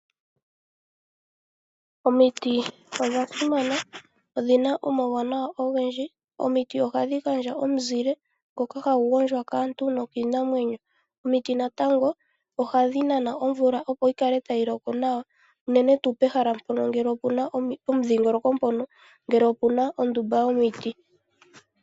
Omiti odha simana. Odhina omauwanawa ogendji . Omiti ohadhi gandja omizile ngoka hagu gondjwa kaantu nokiinamwenyo . Omiti natango ohadhi nana omvula opo yikale tayi loko nawa unene tuu pehala mpono ngele opuna omudhingoloko mpono ngele opuna ondumba yomiti .